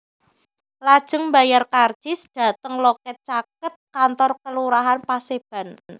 Lajeng mbayar karcis dhateng loket caket kantor Kelurahan Paseban